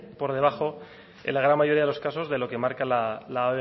por debajo en la gran mayoría de los casos de lo que marca la